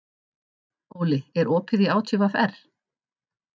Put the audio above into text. Óli, er opið í ÁTVR?